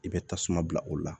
I bɛ tasuma bila o la